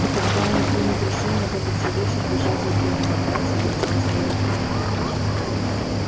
и тогда они примут решение в этот же вечер бежать из дома добраться до джонсборо и